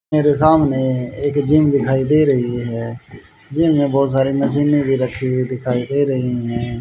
मेरे सामने एक जिम दिखाई दे रही है जिम में बहुत सारी मशीने भी रखी हुई दिखाई दे रही है।